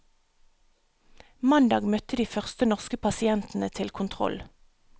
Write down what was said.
Mandag møtte de første norske pasientene til kontroll.